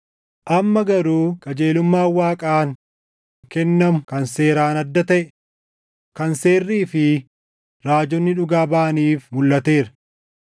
Amma garuu qajeelummaan Waaqaan kennamu kan seeraan adda taʼe, kan Seerrii fi Raajonni dhugaa baʼaniif mulʼateera.